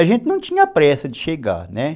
A gente não tinha pressa de chegar, né?